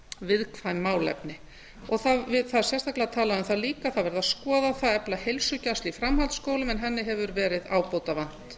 viðkvæm málefni það er sérstaklega talað um það líka að það verði að skoða það að efla heilsugæslu í framhaldsskólum en henni hefur verið ábótavant